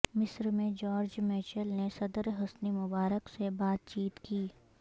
مصر میں George Mitchell نے صدر حسنی مبارک سے بات چیت کی